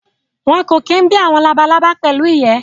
Wọn kò kí bí àwọn labalábá pẹ̀lú ìyẹ́